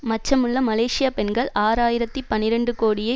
மச்சமுள்ள Malaysia பெண்கள் ஆறு ஆயிரத்தி பனிரண்டு கோடியே